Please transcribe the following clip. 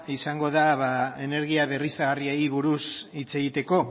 izango da energia berriztagarriei buruz hitz egiteko